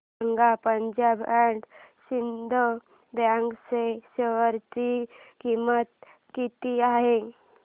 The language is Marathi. सांगा पंजाब अँड सिंध बँक च्या शेअर ची किंमत किती आहे